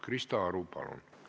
Krista Aru, palun!